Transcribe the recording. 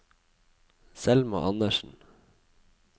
Selma Andersen